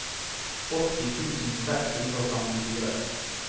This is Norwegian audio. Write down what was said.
åtti tusen seks hundre og femtifire